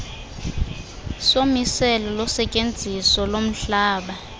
somiselo losetyenziso lomhlaba